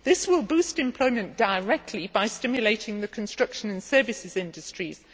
This will boost employment directly by stimulating the construction and services industries.